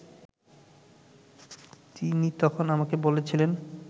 তিনি তখন আমাকে বলেছিলেন